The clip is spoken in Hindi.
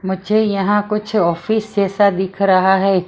मुझे यहां कुछ ऑफिस जैसा दिख रहा है।